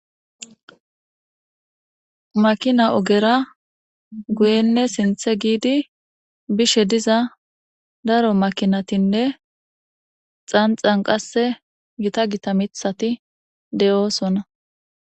makina ogera guyenne sinthe giidi bishe diza daro makinatinne xanxan qasse gita gita mithati de'oosona